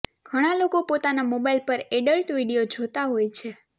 ઘણાં લોકો પોતાના મોબાઇલ પર એડલ્ટ વીડિયો જોતા હોય છે